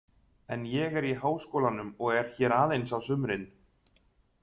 En ég er í Háskólanum og er hér aðeins á sumrin.